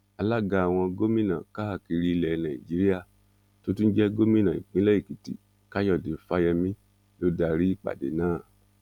alága àwọn gómìnà káàkiri ilẹ nàíjíríà tó tún jẹ gómìnà ìpínlẹ èkìtì káyọdé fáyemí ló darí ìpàdé náà